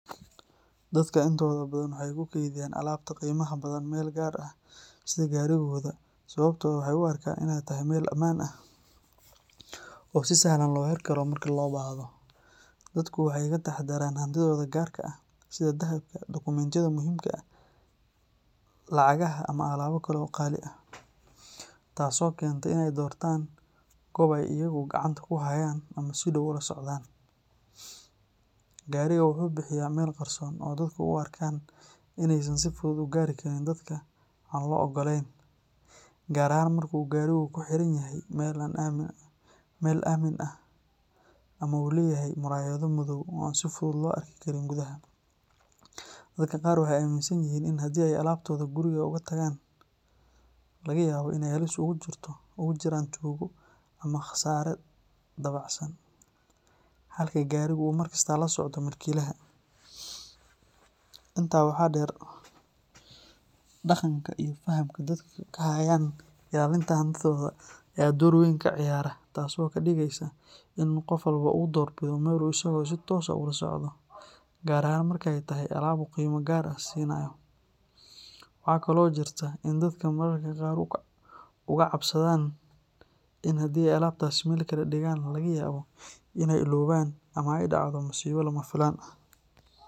Dadka intooda badan waxay ku keydiyaan alaabta qiimaha badan meel gaar ah sida gaariga, sababtuna waa inay u arkaan inay tahay meel ammaan ah oo si sahlan loo arki karo marka loo baahdo. Dadka waxay inta badan ka taxadaraan alaabtooda qaali ah sida dahabka, dokumentiyada, lacagaha, ama alaabo kale oo qaali ah, taas oo keenta inay doortaan goob ay gacantooda ku hayaan ama si dhow ula socdaan. Gaariga wuxuu bixiyaa meel qarsoon oo dadka ay u arkaan inay si fudud ku gaari karaan – gaar ahaan marka uu gaarigu ku xiranyahay meel ammaan ah ama uu leeyahay muraayado madow oo aan si fudud loo arki karin gudaha. Dadka qaar waxay aaminsan yihiin in haddii ay alaabtooda guriga kaga tagaan laga yaabo inay halis ugu jirto tuugo ama khasaare dabacsan, halka gaariga uu inta badan la socdo mulkiilaha. Intaa waxaa dheer, dhaqanka iyo fahamka ay dadka ka hayaan ilaalinta hantidooda ayaa door weyn ka ciyaara, taas oo qof kasta ka dhigta inuu doorbido meel uu si toos ah ula socon karo, gaar ahaan marka ay tahay alaab qiimo gaar ah leh. Waxaa kaloo jira cabsi ah in haddii alaabtaasi meel kale lagu dhigo, laga yaabo in la illoobo ama ay dhacdo musiibo lama filaan ah.